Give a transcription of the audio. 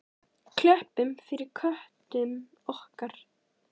Klöppum fyrir köttum okkar!